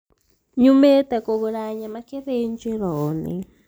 Nyumĩte kũgura nyama gĩthĩnjĩro-inĩ